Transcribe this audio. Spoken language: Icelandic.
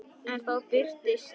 En þá birtist